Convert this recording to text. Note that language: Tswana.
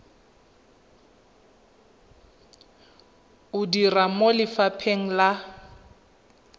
o dira mo lefapheng la